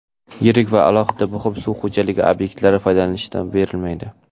Yirik va alohida muhim suv xo‘jaligi obyektlari foydalanishga berilmaydi.